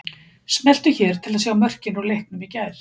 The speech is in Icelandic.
Smelltu hér til að sjá mörkin úr leiknum í gær